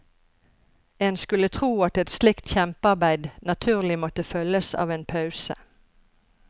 En skulle tro at et slikt kjempearbeid naturlig måtte følges av en pause.